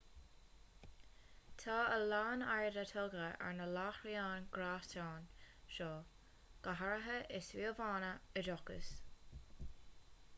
tá a lán airde tugtha ar na láithreáin ghréasáin seo go háirithe i suíomhanna oideachais